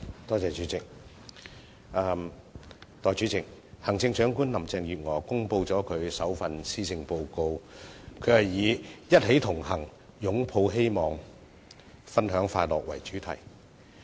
代理主席，行政長官林鄭月娥公布了其首份施政報告，以"一起同行、擁抱希望、分享快樂"為主題。